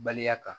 Balimaya kan